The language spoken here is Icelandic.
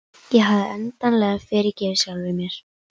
Ég hafði endanlega fyrirgefið sjálfri mér.